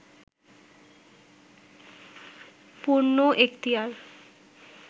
পূর্ণ এক্তিয়ার